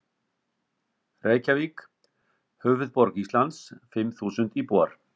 Reykjavík, höfuðborg Íslands, fimm þúsund íbúar.